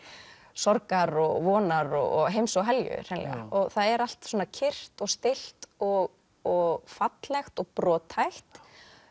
sorgar og vonar og heims og helju hreinlega það er allt kyrrt og stillt og og fallegt og brothætt